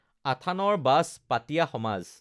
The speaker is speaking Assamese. আথানৰ বাজ, পাতিয়া সমাজ,